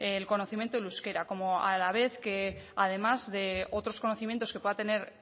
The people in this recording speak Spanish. el conocimiento del euskera como a la vez que además de otros conocimientos que pueda tener